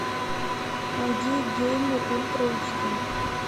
найди геймер ультра эйджди